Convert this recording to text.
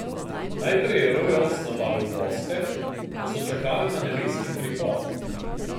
Najprej je roj os napadel goste, ko so čakali na nevestin prihod.